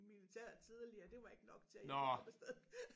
Militæret tidligere det var ikke nok til at jeg kunne komme afsted